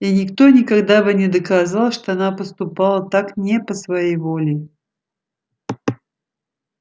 и никто никогда бы не доказал что она поступала так не по своей воле